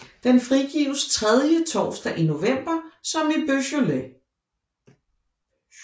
Den frigives tredje torsdag i november som i Beaujolais